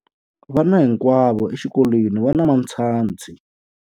Vana hinkwavo exikolweni va na matshansi.